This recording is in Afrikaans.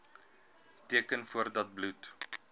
teken voordat bloed